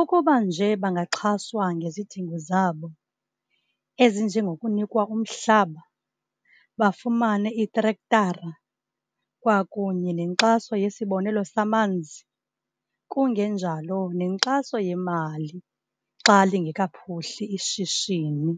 Ukuba nje bangaxhaswa ngezidingo zabo, ezinjengokunikwa umhlaba, bafumane iitrektara, kwakunye nenkxaso yesibonelo samanzi, kungenjalo, nenkxaso yemali xa lingekaphuhli ishishini.